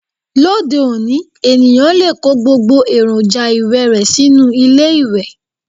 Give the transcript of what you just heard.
Lóde òní, ènìyàn lè kó gbogbo èròjà ìwẹ̀ rẹ sínú ilé ìwẹ̀